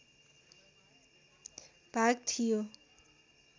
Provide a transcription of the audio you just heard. भाग थियो